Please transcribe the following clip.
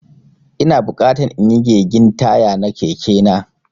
Ina bukatan inyi gegin taya na Keke na.